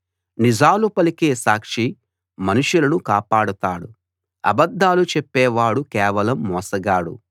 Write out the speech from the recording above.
నిజాలు పలికే సాక్షి మనుషులను కాపాడతాడు అబద్ధాలు చెప్పేవాడు కేవలం మోసగాడు